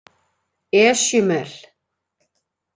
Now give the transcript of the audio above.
Esjumel